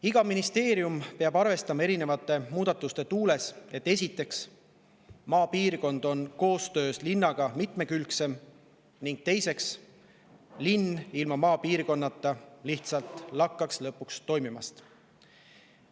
Iga ministeerium peab erinevate muudatuste tuules arvestama esiteks, et maapiirkond on koostöös linnaga mitmekülgsem, ning teiseks, et linn ilma maapiirkonnata lihtsalt lakkaks lõpuks toimimast.